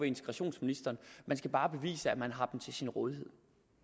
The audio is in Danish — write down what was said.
integrationsministeren man skal bare bevise at man har dem til sin rådighed